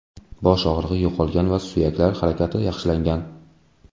Bosh og‘rig‘i yo‘qolgan va suyaklar harakati yaxshilangan.